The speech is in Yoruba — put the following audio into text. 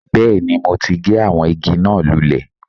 Bẹ́ẹ̀ni mo ti gé àwọn igi náà lulè